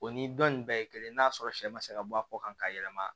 O ni dɔn nin bɛɛ ye kelen n'a sɔrɔ sɛ ma se ka bɔ a kɔ kan ka yɛlɛma